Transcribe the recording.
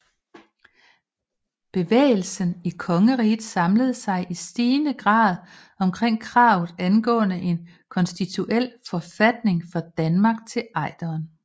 Bevægelsen i kongeriget samlede sig i stigende grad omkring kravet angående en konstitutionel forfatning for Danmark til Ejderen